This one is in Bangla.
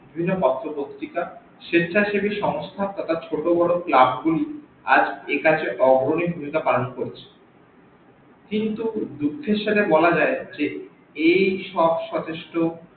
বিভিন্ন পত্র পত্রিকা সেচ্চাছেবি সংস্থা তথা ছোট বড় club গুলি আজ একাজে অগ্রনি ভুমিকা পালন করছে কিন্তু দুঃখের সাথে বলা যাই যে এই সব সতেষ্ট